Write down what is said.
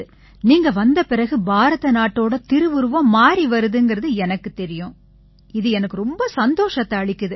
நீங்க வந்த பிறகு பாரத நாட்டோட திருவுருவம் மாறிவருதுங்கறது எனக்குத் தெரியும் இது எனக்கு ரொம்ப சந்தோஷத்தை அளிக்குது